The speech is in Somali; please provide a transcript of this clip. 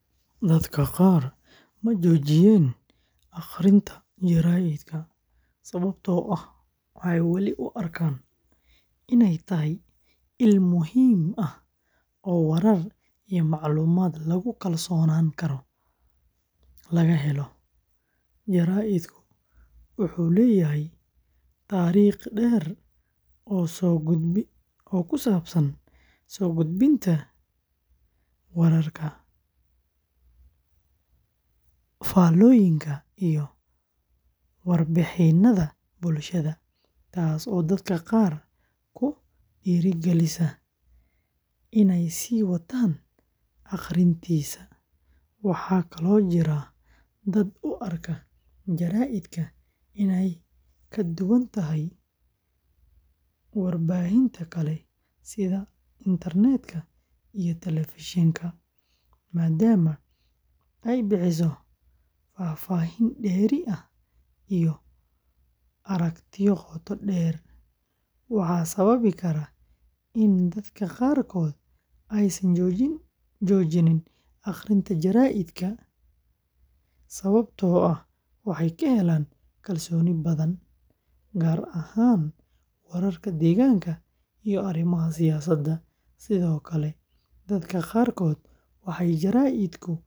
Dadka qaar ma joojiyeen akhrinta jaraa’idka sababtoo ah waxay weli u arkaan inay tahay il muhiim ah oo warar iyo macluumaad lagu kalsoonaan karo. Jaraa’idku wuxuu leeyahay taariikh dheer oo soo gudbinta wararka, faallooyinka, iyo warbixinada bulshada, taasoo dadka qaar ku dhiirrigelisa inay sii wataan akhrintiisa. Waxaa kaloo jira dad u arka jaraa’idka inay ka duwan tahay warbaahinta kale sida internetka iyo telefishanka, maadaama ay bixiso faahfaahin dheeri ah iyo aragtiyo qoto dheer. Waxaa sababi kara in dadka qaarkood aysan joojin akhrinta jaraa’idka sababtoo ah waxay ka helaan kalsooni badan, gaar ahaan wararka deegaanka iyo arrimaha siyaasadda. Sidoo kale, dadka qaarkood waxay jaraa’idka u isticmaalaan.